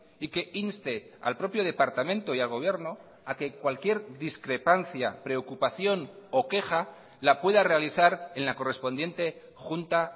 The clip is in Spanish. y que inste al propio departamento y al gobierno a que cualquier discrepancia preocupación o queja la pueda realizar en la correspondiente junta